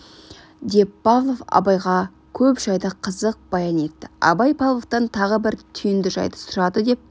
деп павлов абайға көп жайды қызық баян етті абай павловтан тағы бір түйінді жайды сұрады деп